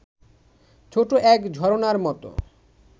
ছোট এক ঝরণার মত